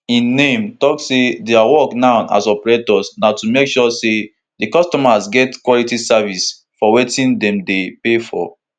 im name tok say dia work now as operators na to make sure say di customers get quality service for wetin dem dey pay for